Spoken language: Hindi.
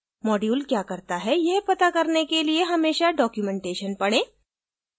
module क्या करता है यह पता करने के लिए हमेशा documentation पढें